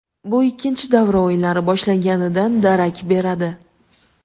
Bu ikkinchi davra o‘yinlari boshlanganidan darak beradi.